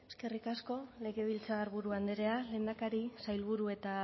eskerrik asko legebiltzarburu andrea lehendakari sailburu eta